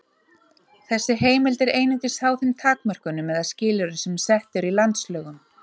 Þessi heimild er einungis háð þeim takmörkunum eða skilyrðum sem sett eru í landslögum.